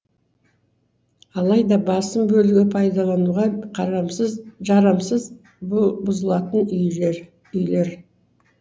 алайда басым бөлігі пайдалануға қарамсыз жарамсыз бұзылатын үйлер үйлер